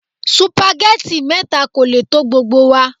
Supageti mẹ́ta kò lè tó gbogbo wa.